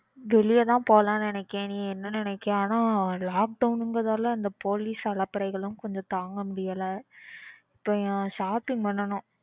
வெளியதான் போலாம்னு நினைக்கேன். நீ என்ன நினைக்கறன்னு lockdown கிறதுனால இந்த போலீஸ் அலப்பறைகள்லாம் கொஞ்சம் தாங்க முடியல. இப்போ shopping பண்ணனும்.